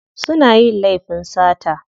Suna yin laifin sata.